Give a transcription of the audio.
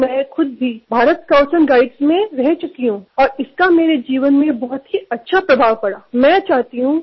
कारण मी स्वत भारत स्काऊटस् आणि गाईडमधे होतो आणि त्याचा माझ्या जीवनावर खूपच चांगला परिणाम झाला